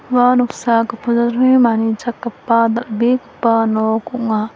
ua noksa gipin jatrangni manichakgipa dal·begipa nok ong·a.